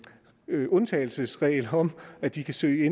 undtagelsesregel om at de kan søge